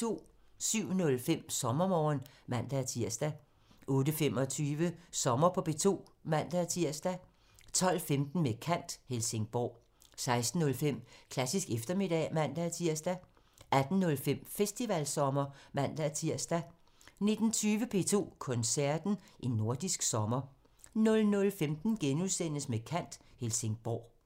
07:05: Sommermorgen (man-tir) 08:25: Sommer på P2 (man-tir) 12:15: Med kant – Helsingborg 16:05: Klassisk eftermiddag (man-tir) 18:05: Festivalsommer (man-tir) 19:20: P2 Koncerten – En nordisk sommer 00:15: Med kant – Helsingborg *